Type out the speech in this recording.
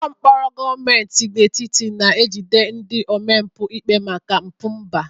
Ụlọ mkpọrọ gọọmenti etiti na-ejide ndị omempụ ikpe maka mpụ mba.